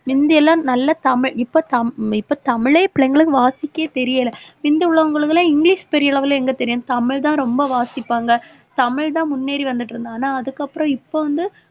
முந்தியெல்லாம் நல்ல தமிழ் இப்ப தமி~ இப்ப தமிழே பிள்ளைங்களுக்கு வாசிக்க தெரியலே முந்தி உள்ளவங்களுக்கு எல்லாம் இங்கிலிஷ் பெரிய level ல எங்க தெரியும் தமிழ்தான் ரொம்ப வாசிப்பாங்க. தமிழ்தான் முன்னேறி வந்துட்டிருந்தோம் ஆனா அதுக்கப்புறம் இப்ப வந்து